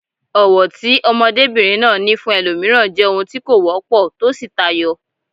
Ọ̀wọ̀ tí ọmọdébìnrin náà ní fún ẹlòmíràn jẹ́ ohun tí kò wọ́pọ̀ tó sì tayọ.